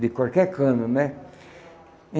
De qualquer cano, né?